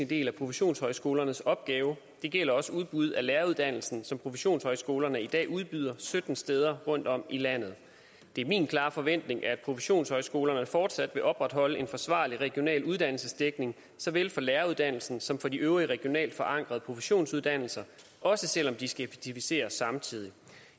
del af professionshøjskolernes opgave det gælder også udbud af læreruddannelsen som professionshøjskolerne i dag udbyder sytten steder rundtom i landet det er min klare forventning at professionshøjskolerne fortsat vil opretholde en forsvarlig regional uddannelsesdækning såvel for læreruddannelsen som for de øvrige regionalt forankrede professionsuddannelser også selv om de skal effektivisere samtidig